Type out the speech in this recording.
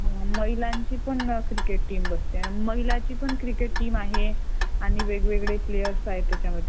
महिलांची पण cricket team बनलेली आहे आता आणि वेगवेगळे प्लेअर आहते त्याच्यामध्ये